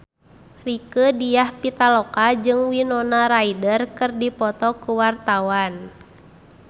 Rieke Diah Pitaloka jeung Winona Ryder keur dipoto ku wartawan